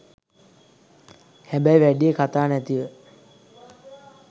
හැබැයි වැඩිය කතා නැතිව